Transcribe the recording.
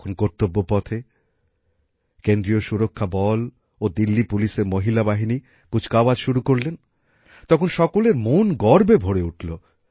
যখন কর্তব্যপথে কেন্দ্রীয় সুরক্ষা বল ও দিল্লী পুলিশের মহিলা বাহিনী কুচকাওয়াজ শুরু করলেন তখন সকলের মন গর্বে ভরে উঠলো